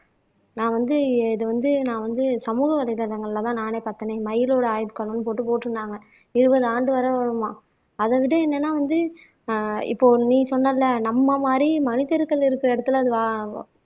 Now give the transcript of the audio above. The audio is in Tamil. நான் வந்து இதை வந்து நான் வந்து சமூக வலைதளங்கள்லதான் நானே பார்த்தேன்னே இன்னைக்கு மயிலோட ஆயுட்காலம்ன்னு போட்டு போட்டிருந்தாங்க இருபது ஆண்டு வருமாம் அதை விட என்னன்னா வந்து ஆஹ் இப்போ நீ சொன்னல்ல நம்ம மாறி மனிதர்கள் இருக்கிற இடத்துல அது வ